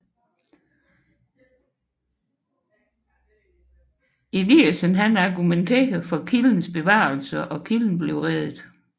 Eliassen til at argumentere for kildens bevarelse og kilden blev reddet